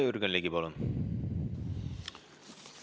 Jürgen Ligi, palun!